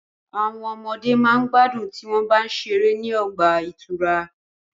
Àwọn ọmọde ma gbádùn tí wọ́n bá ń ṣeré ní ọgbà ìtura.